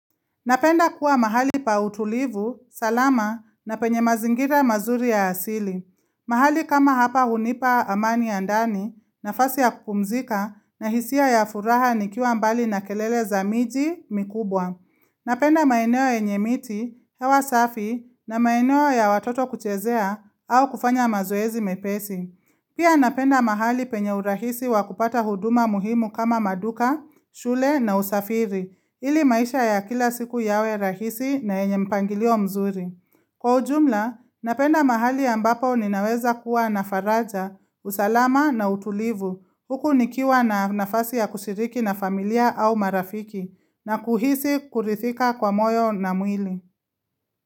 Napenda kuwa mahali pa utulivu, salama na penye mazingira mazuri ya asili. Mahali kama hapa hunipa amani ya ndani nafasi ya kupumzika na hisia ya furaha nikiwa mbali na kelele za miji mikubwa. Napenda maeneo yenye miti, hewa safi na maeneo ya watoto kuchezea au kufanya mazoezi mepesi. Pia napenda mahali penye urahisi wa kupata huduma muhimu kama maduka, shule na usafiri. Ili maisha ya kila siku yawe rahisi na yenye mpangilio mzuri. Kwa ujumla, napenda mahali ambapo ninaweza kuwa nafaraja, usalama na utulivu, huku nikiwa na nafasi ya kushiriki na familia au marafiki, na kuhisi kurithika kwa moyo na mwili.